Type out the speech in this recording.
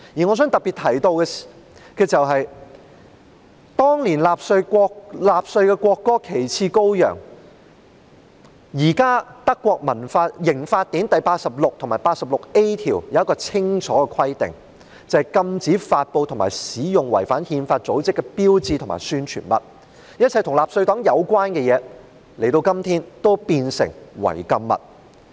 我想特別提到，對於當年納粹的國歌"旗幟高揚"，現時德國刑法典第86及 86a 條有清楚的規定，禁止發布和使用違反憲法的組織的標誌和宣傳物，一切與納粹黨有關的東西，今天已變成違禁物。